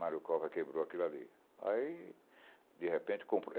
Mário Cova quebrou aquilo ali. Aí de repente comprou